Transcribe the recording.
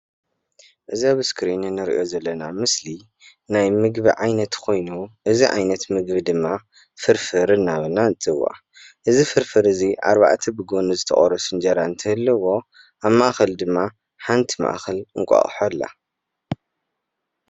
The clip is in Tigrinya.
እዚ አብ እስኪሪን እንሪኦ ዘለና ምስሊ ናይ ምግቢ ዓይነት ኮይኑእዚ ምግቢ ዓይነት ድማ ፍርፍር እናበልና ንፅዎዕ። እዚ ፍርፍርእዚ አርባዕተ ብጎኒ ዝተቆረሱ እንጀራ ዝተቆረሱ እንትህልውዎ አብ ማእከል ድማ ሓንቲ ማእከል እንቃቆሖ አላ፡፡